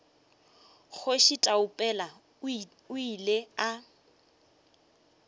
kgoši taupela o ile a